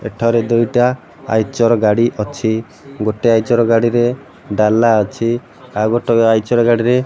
ଏଠାରେ ଦୁଇଟା ଆଇଚର ଗାଡ଼ି ଅଛି। ଗୋଟେ ଆଇଚର ଗାଡ଼ିରେ ଡ଼ାଲା ଅଛି। ଆଉ ଗୋଟେ ଆଇଚର ଗାଡ଼ିରେ --